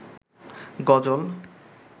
গজল